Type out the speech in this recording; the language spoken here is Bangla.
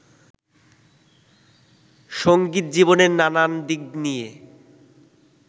সংগীত জীবনের নানান দিক নিয়ে